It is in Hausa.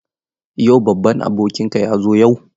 Yau babban abokinka ya zo yawo?